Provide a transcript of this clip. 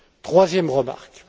Troisième remarque.